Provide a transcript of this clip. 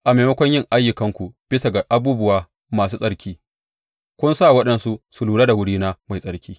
A maimakon yin ayyukanku bisa ga abubuwana masu tsarki, kun sa waɗansu su lura da wurina mai tsarki.